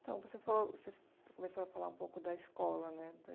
Então, você falou você começou a falar um pouco da escola, né?